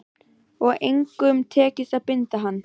Og engum tekist að binda hann.